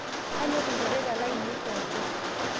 Kanyor lnjoreta laine pooki